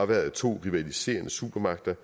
været to rivaliserende supermagter